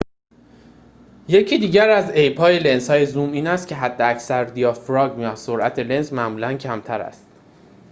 یکی دیگر از عیب‌های لنزهای زوم این است که حداکثر دیافراگم سرعت لنز معمولاً کمتر است